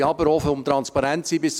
Um transparent zu sein: